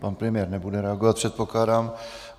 Pan premiér nebude reagovat, předpokládám.